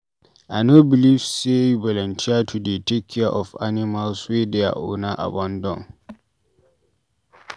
I no beliv sey you volunteer to dey take care of animals wey their owner abandon.